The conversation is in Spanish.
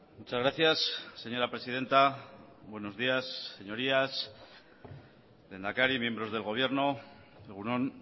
muchas gracias señora presidenta buenos días señorías lehendakari miembros del gobierno egun on